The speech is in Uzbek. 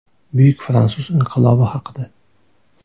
Buyuk fransuz inqilobi haqida.